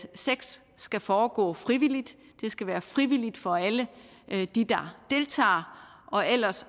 sex skal foregå frivilligt det skal være frivilligt for alle de der deltager og ellers